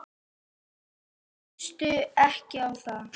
Minnstu ekki á það.